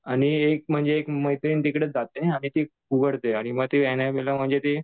आणि एक म्हणजे एक मैत्रीण तिकडे जाते. आणि ती उघडते आणि ती ऍनाबेला म्हणजे ती